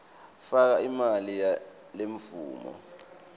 faka imali yalemvumo